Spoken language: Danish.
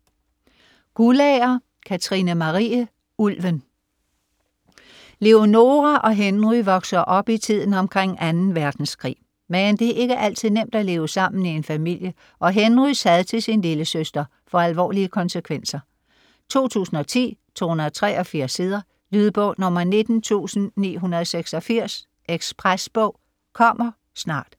Guldager, Katrine Marie: Ulven Leonora og Henry vokser op i tiden omkring 2. verdenskrig, men det er ikke altid nemt at leve sammen i en familie, og Henrys had til sin lillesøster får alvorlige konsekvenser. 2010, 283 sider. Lydbog 19986 Ekspresbog - kommer snart